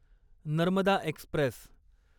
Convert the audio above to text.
Narmada Express